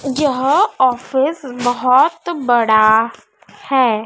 यह ऑफिस बहोत बड़ा है।